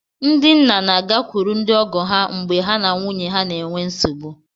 Ndị nna na-agakwuru ndị ọgọ ha mgbe ha na nwunye ha na-enwe nsogbu